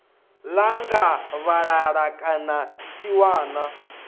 ḓa nga vhalala kana tsiwana